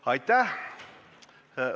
Kohaloleku kontroll Aitäh!